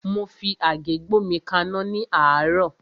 Mo fi àgé gbómi kaná ní àárọ́.